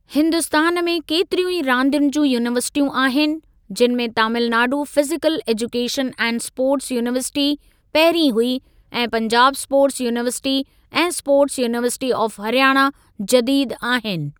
हिन्दुस्तान में केतिरियूं ई रांदियुनि जूं यूनीवर्सिटियूं आहिनि जिनि में Tamil Nadu physical education and sports university पहिरीं हुई ऐं पंजाब स्पोर्ट्स यूनीवर्सिटी ऐं स्पोर्ट्स यूनीवर्सिटी ऑफ़ हरियाणा जदीदु आहिनि।